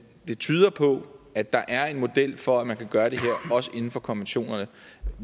det tyder på at der er en model for at man kan gøre det her også inden for konventionerne